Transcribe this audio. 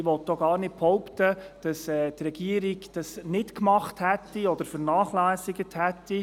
Ich will auch gar nicht behaupten, dass die Regierung dies vernachlässigt hätte.